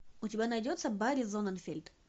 у тебя найдется барри зонненфельд